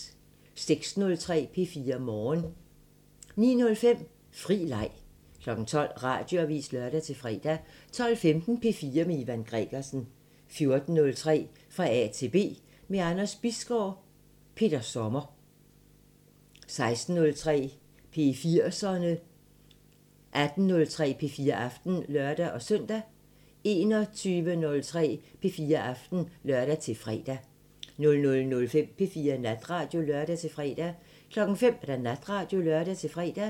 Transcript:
06:03: P4 Morgen 09:05: Fri Leg 12:00: Radioavisen (lør-fre) 12:15: P4 med Ivan Gregersen 14:03: Fra A til B – med Anders Bisgaard: Peter Sommer 16:03: P4'serne 18:03: P4 Aften (lør-søn) 21:03: P4 Aften (lør-fre) 00:05: P4 Natradio (lør-fre) 05:00: Radioavisen (lør-fre)